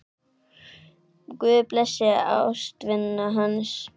Guð blessi ástvini hans.